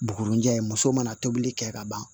Bugurunjɛ muso mana tobili kɛ ka ban